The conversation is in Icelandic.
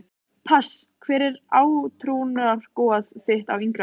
pass Hver var átrúnaðargoð þitt á yngri árum?